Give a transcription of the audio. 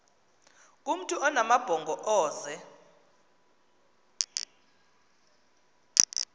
kumntu onamabhongo ozee